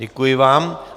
Děkuji vám.